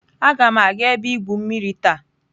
Agam aga ebe igwu mmiri taa.